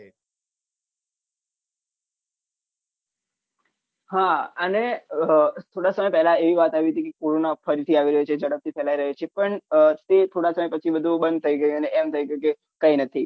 હા અને હ થોડા સમય પહલા એવી વાત આવી હતી કે corona ફરીથી આવી રહ્યું છે જડપથી ફેલાઈ રહ્યું છે પણ તે થોડા સમય પછી બંદ થઇ ગયું ને અને એમ થઇ ગયું કે કઈ નથી